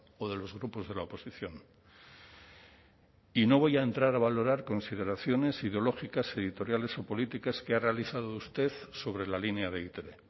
o de los grupos de la oposición y no voy a entrar a valorar consideraciones ideológicas editoriales o políticas que ha realizado usted sobre la línea de e i te be